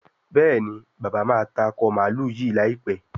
Béèni bàbá má tá Akọ mààlúù yí láìpé.